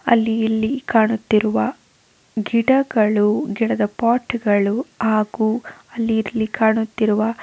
ಅಲ್ಲಿ ಇಲ್ಲಿ ಕಾಣುತ್ತಿರುವ ಗಿಡಗಳು ಗಿಡದ ಪೊಟ್ಗಳು ಹಾಗು ಅಲ್ಲಿ ಇಲ್ಲಿ ಕಾಣುತ್ತಿರುವ --